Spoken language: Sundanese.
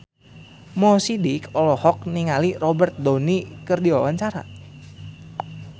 Mo Sidik olohok ningali Robert Downey keur diwawancara